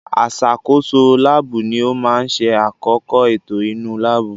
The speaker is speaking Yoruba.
Aṣàkóso láàbù ni ó máa ń ṣe àkóko ètò inú láàbù